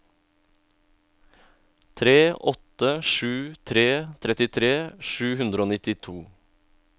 tre åtte sju tre trettitre sju hundre og nittito